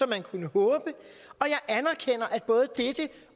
man kunne håbe og jeg anerkender at både dette